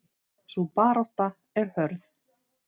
Sú barátta er hörð.